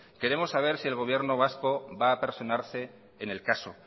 queremos saber si el gobierno vasco va a personarse en el caso